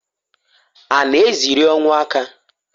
A na eziri ọnwụ aka?